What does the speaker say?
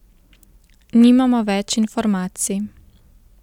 Nimamo nič več informacij.